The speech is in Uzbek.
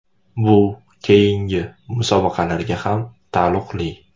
Bu keyingi musobaqalarga ham taalluqli.